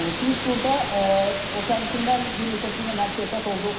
Biz burda o sərnişinlər bir neçəsi ilə həmsöhbət olduq.